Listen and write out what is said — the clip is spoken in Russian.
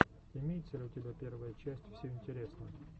имеется ли у тебя первая часть все интересно